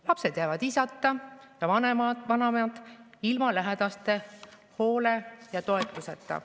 Lapsed jäävad isata ja vanavanemad ilma lähedaste hoole ja toetuseta.